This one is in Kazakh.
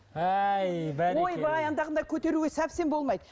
әй бәрекелді ойбай андағындай көтеруге совсем болмайды